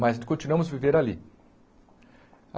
Mas continuamos a viver ali.